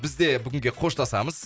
бізде бүгінге қоштасамыз